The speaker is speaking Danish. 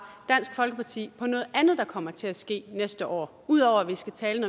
dansk folkeparti om noget andet der kommer til at ske næste år ud over at vi skal tale